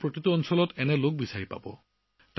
ভাৰতৰ বিভিন্ন প্ৰান্তত এনে লোকক পোৱা যাব